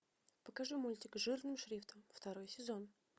покажи мультик жирным шрифтом второй сезон